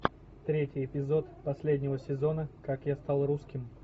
третий эпизод последнего сезона как я стал русским